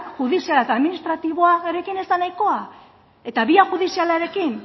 judiziala eta administratiboarekin ez da nahikoa eta bia judizialarekin